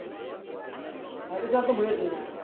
હરિદ્વાર તો મેં જઈ ને આયા